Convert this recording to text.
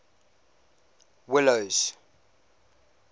willows